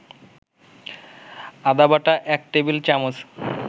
আদাবাটা ১ table চামচ